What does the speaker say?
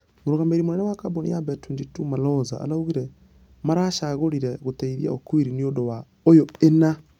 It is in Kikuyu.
Mũrũgamĩrĩri mũnene wa kambũni ya bet22 malonza arugire maracagũrire gũteithia okwiri nĩũndũ ....ũyũ ĩna ....